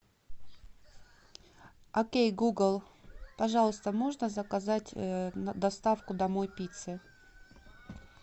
окей гугл пожалуйста можно заказать доставку домой пиццы